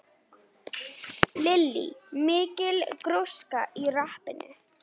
Lillý: Mikil gróska í rappinu?